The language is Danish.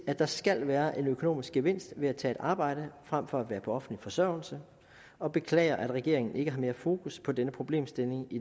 at der skal være en økonomisk gevinst ved at tage et arbejde frem for at være på offentlig forsørgelse og beklager at regeringen ikke har mere fokus på denne problemstilling i